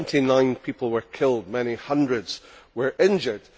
Twenty nine people were killed, many hundreds were injured.